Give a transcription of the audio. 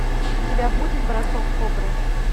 у тебя будет бросок кобры